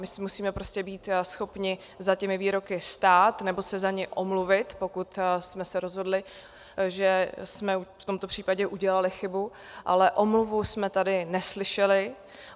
My si musíme prostě být schopni za těmi výroky stát, nebo se za ně omluvit, pokud jsme se rozhodli, že jsme v tomto případě udělali chybu, ale omluvu jsme tady neslyšeli.